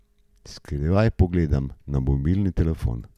Skrivaj pogledam na mobilni telefon.